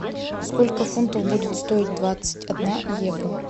сколько фунтов будет стоить двадцать одна евро